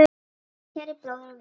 Kæri bróðir og vinur.